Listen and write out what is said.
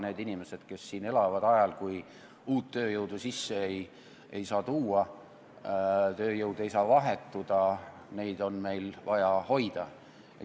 Neid inimesi, kes siin elavad ajal, kui uut tööjõudu sisse tuua ega vahetada ei saa, on meil vaja hoida.